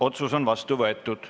Otsus on vastu võetud.